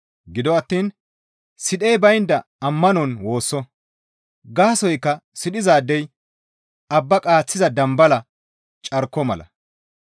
Gido attiin sidhey baynda ammanon woosso; gaasoykka sidhizaadey abba qaaththiza dambala carko mala.